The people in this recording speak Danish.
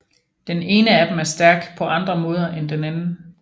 Den ene af dem er stærk på andre måde end den anden